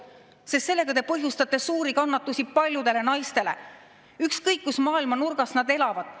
põhjustate te suuri kannatusi paljudele naistele, ükskõik kus maailma nurgas nad elavad.